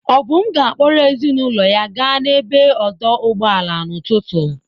Obum ga-akpọrọ ezinụlọ ya gaa n'ebe odoo ụgbọala n'ụtụtụ.